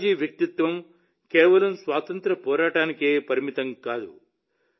లాలాజీ వ్యక్తిత్వం కేవలం స్వాతంత్ర్య పోరాటానికే పరిమితం కాదు